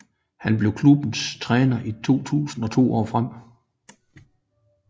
Han blev klubbens træner i 2000 og to år frem